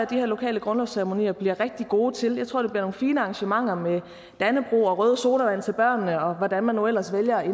de her lokale grundlovsceremonier bliver rigtig gode til jeg tror det bliver nogle fine arrangementer med dannebrog og røde sodavand til børnene og hvordan man nu ellers vælger at